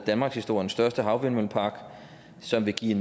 danmarkshistoriens største havvindmøllepark som vil give